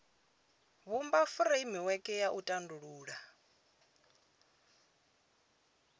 vhumba furemiweke ya u tandulula